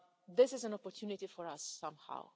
This is an opportunity for us somehow.